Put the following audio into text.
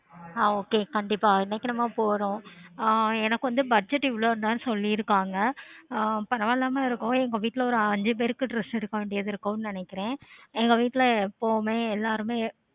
ஆஹ் okay கண்டிப்பா இன்னைக்கு நம்ம போறோம் ஆஹ் எனக்கு கொஞ்சம் budget இவ்வளவு தான்னு சொல்லிருக்காங்க அஹ் நான் இல்லாம இருக்கும் அதும் இல்லாம எங்க வீட்ல நாலு அஞ்சி பேருக்கு எடுக்க வேண்டியது இருக்கும்னு நெனைக்கிறேன் எங்க வீட்ல எப்பவுமே எல்லாருமே